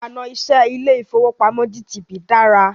Ìlànà iṣẹ ilé ìfọwọ́pamo GTB dára.